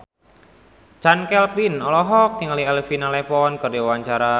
Chand Kelvin olohok ningali Elena Levon keur diwawancara